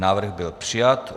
Návrh byl přijat.